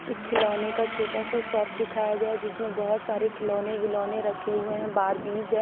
एक खिलोने का छोटा सा शॉप दिखाया गया जिसमे बहोत सारे खिलोने विलोने रखे हुए है बारबिस है--